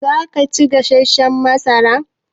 Zaka ci gasashshan masara?